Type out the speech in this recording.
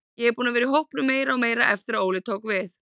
Ég er búinn að vera í hópnum meira og meira eftir að Óli tók við.